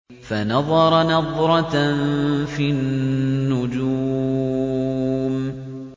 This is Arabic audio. فَنَظَرَ نَظْرَةً فِي النُّجُومِ